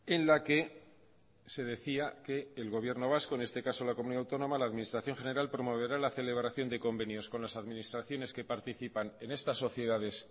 en la que se decía que el gobierno vasco en este caso la comunidad autónoma la administración general promoverá la celebración de convenios con las administraciones que participan en estas sociedades